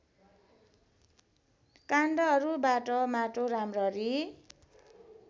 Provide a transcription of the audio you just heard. काण्डहरूबाट माटो राम्ररी